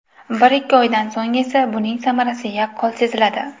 Bir-ikki oydan so‘ng esa, buning samarasi yaqqol seziladi.